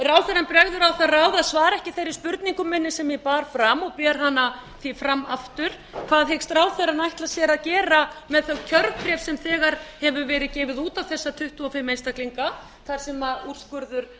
ráðherrann bregður á það ráð að svara ekki þeirri spurningu minni sem ég bar fram og ber hana því fram aftur hvað hyggst ráðherrann gera með þau kjörbréf sem þegar hefur verið gefið út á þessa tuttugu og fimm einstaklinga þar sem úrskurður